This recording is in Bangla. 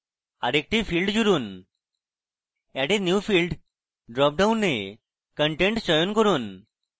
আরেকটি field জুড়ুন add a new field drop ডাউনে content চয়ন করুন